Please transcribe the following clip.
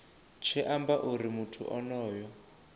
tshi amba uri muthu onoyo